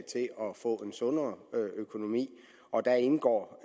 få en sundere økonomi og der indgår